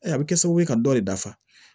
a bɛ kɛ sababu ye ka dɔ de dafa